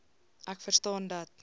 ek verstaan dat